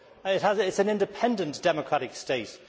It is an independent democratic state.